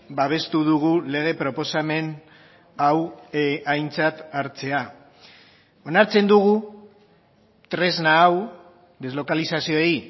babestu dugu lege proposamen hau aintzat hartzea onartzen dugu tresna hau deslokalizazioei